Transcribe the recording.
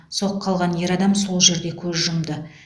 соққы алған ер адам сол жерде көз жұмды